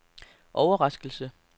overraskelse